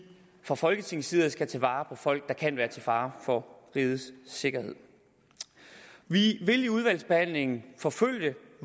fra folketingets side skal tage vare på folk der kan være til fare for rigets sikkerhed vi vil i udvalgsbehandlingen forfølge